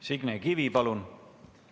Signe Kivi, palun!